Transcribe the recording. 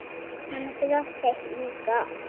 Hann brosti líka.